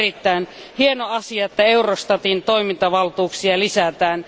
On erittäin hieno asia, että Eurostatin toimintavaltuuksia lisätään.